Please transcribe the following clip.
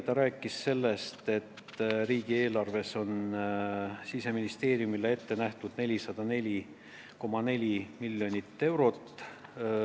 Ta rääkis meile sellest, et riigieelarvest on Siseministeeriumile ette nähtud 404,4 miljonit eurot.